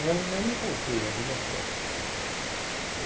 Eu não me poupei a vida toda.